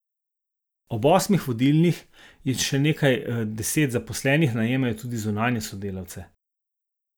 Ob osmih vodilnih in še nekaj deset zaposlenih najemajo tudi zunanje svetovalce.